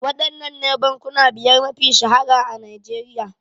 Waɗannene bankuna biyar mafiya shahara a Nigeria?